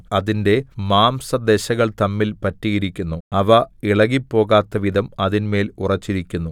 അതിന്റെ മാംസദശകൾ തമ്മിൽ പറ്റിയിരിക്കുന്നു അവ ഇളകിപ്പോകാത്തവിധം അതിന്മേൽ ഉറച്ചിരിക്കുന്നു